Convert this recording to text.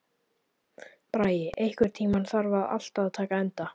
Bragi, einhvern tímann þarf allt að taka enda.